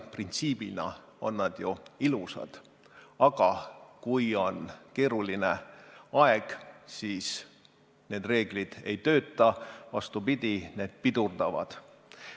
Printsiibina on see ju ilus, aga kui on keeruline aeg, siis need reeglid ei tööta, vastupidi, need pidurdavad.